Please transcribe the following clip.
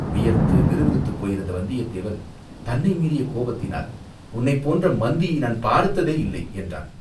வியர்த்து விறுவிறுத்துப் போயிருந்த வந்தியத்தேவன் தன்னை மீறிய கோபத்தினால், "உன்னைப் போன்ற மந்தியை நான் பார்த்ததேயில்லை!" என்றான்.